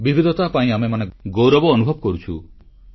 ବିବିଧତା ପାଇଁ ଆମେମାନେ ଗୌରବ ଅନୁଭବ କରୁଛୁ